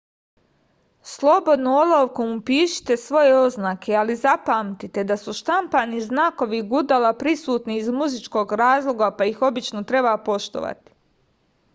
slobodno olovkom upišite svoje oznake ali zapamtite da su štampani znakovi gudala prisutni iz muzičkog razloga pa ih obično treba poštovati